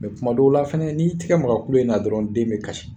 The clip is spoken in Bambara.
Mɛ kuma dɔw la fɛnɛ n'i y'i tigɛ maga kulu in na dɔrɔn den bɛ kasi.